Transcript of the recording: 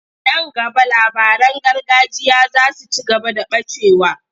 Nan gaba labaran gargajiya za su ci gaba da ɓacewa.